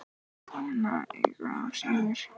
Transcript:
En kona engu að síður.